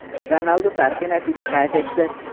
Ronaldu tarixiy natija qayd etdi.